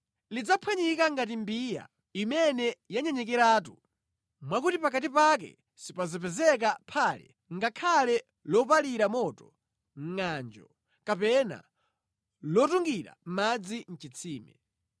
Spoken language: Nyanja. Lidzaphwanyika ngati mbiya imene yanyenyekeratu, mwakuti pakati pake sipadzapezeka phale ngakhale lopalira moto mʼngʼanjo kapena lotungira madzi mʼchitsime.”